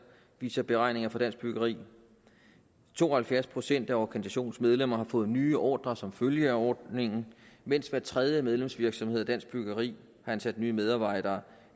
viser beregninger fra dansk byggeri to og halvfjerds procent af organisationens medlemmer har fået nye ordrer som følge af ordningen mens hver tredje medlemsvirksomhed af dansk byggeri har ansat nye medarbejdere